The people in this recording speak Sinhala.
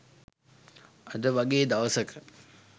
අද වගේ දවසක